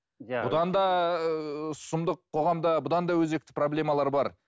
бұдан да сұмдық қоғамда бұдан да өзекті проблемалар бар